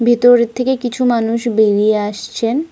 ভিতর থেকে কিছু মানুষ বেরিয়ে আসছেন।